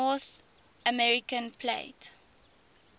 north american plate